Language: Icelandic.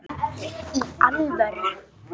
Í alvöru!?